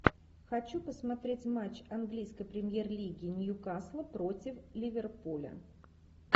хочу посмотреть матч английской премьер лиги ньюкасла против ливерпуля